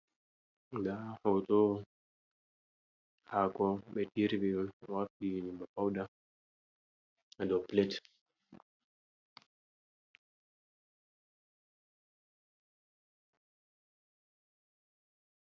Nda ɗo ɗum hako ɓe iri ɓe wartiri ɗum bana pauda ha dow plet.